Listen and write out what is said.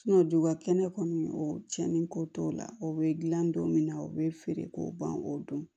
dugubakɛnɛ kɔni o cɛniko t'o la o bɛ dilan don min na o bɛ feere k'o ban k'o dɔn